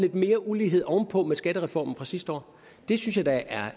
mere ulighed oven på med skattereformen fra sidste år det synes jeg da